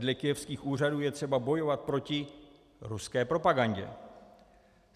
Dle kyjevských úřadů je třeba bojovat proti ruské propagandě.